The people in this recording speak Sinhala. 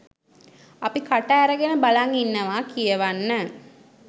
අපි කට ඇරගෙන බලන් ඉන්නවා කියවන්න